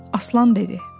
Aslan dedi.